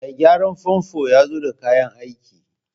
Mai gyaran famfo ya zo da kayan aiki